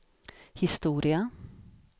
historia